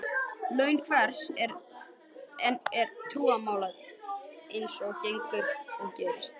Laun hvers og eins er trúnaðarmál eins og gengur og gerist.